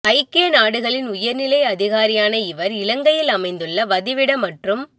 ஐக்கிய நாடுகளின் உயர் நிலை அதிகாரியான இவர்இ இலங்கையில் அமைந்துள்ள வதிவிட மற்றும்